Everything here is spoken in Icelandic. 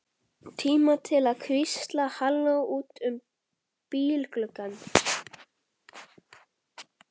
Tíma til að hvísla hallói út um bílgluggann.